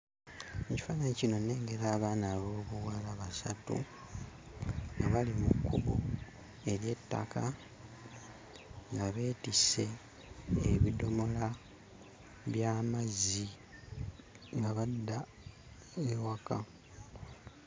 Mu kifaananyi kino nnengera abaana ab'obuwala basatu nga bali mu kkubo ery'ettaka nga beetisse ebidomola by'amazzi nga badda ewaka.